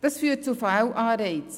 Das führt zu Fehlanreizen: